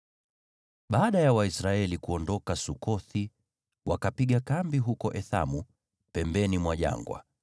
Baada ya Waisraeli kuondoka Sukothi wakapiga kambi huko Ethamu pembeni mwa jangwa.